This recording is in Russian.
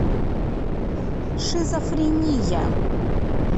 шизофрения